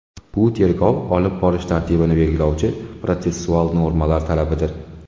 Bu tergov olib borish tartibini belgilovchi protsessual normalar talabidir.